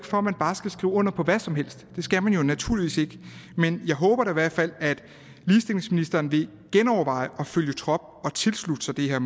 for at man bare skal skrive under på hvad som helst det skal man naturligvis ikke men jeg håber da i hvert fald at ligestillingsministeren vil genoverveje at følge trop og tilslutte sig det her